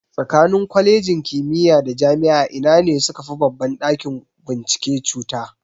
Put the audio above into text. Tsakanin Kwalejin kimiya da Jami'a ina ne sukafi babban ɗakin bincike cuta?